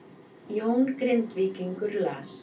Jón Grindvíkingur las